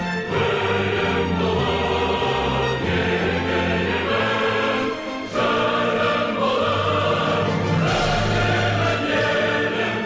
гүлің болып егілемін жырың болып төгілемін елім